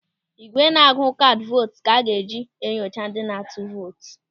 Ị́gwè na-agụ kaadị vootu ka a ga-eji enyocha ndị na-atụ vootu.